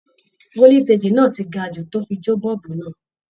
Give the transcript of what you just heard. Foliteji náà tí gà jù tó fí jo boolubu náà